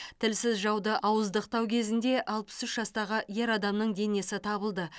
тілсіз жауды ауыздықтау кезінде алпыс үш жастағы ер адамның денесі табылды